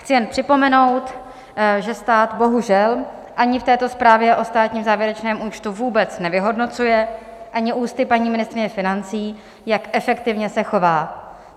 Chci jen připomenout, že stát bohužel ani v této zprávě o státním závěrečném účtu vůbec nevyhodnocuje ani ústy paní ministryně financí, jak efektivně se chová.